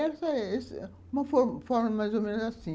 E essa é uma forma mais ou menos assim.